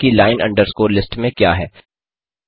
देखते हैं कि लाइन अंडरस्कोर लिस्ट में क्या है